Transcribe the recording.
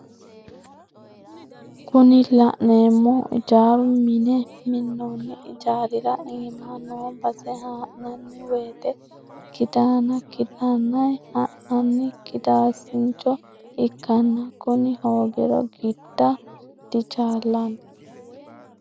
Kuni la'neemohu ijaara minne minonni ijaarira iima noo base ha'nanni wote kiddina kiddinay ha'nanni kidaasincho ikkanna kuni hoogiro gidda dichaallanni.